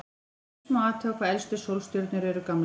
Til dæmis má athuga hvað elstu sólstjörnur eru gamlar.